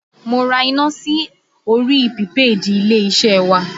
Mo ra iná sí orí pìpéèdì ilé-iṣẹ́ wa